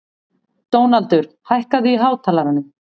Dónaldur, hækkaðu í hátalaranum.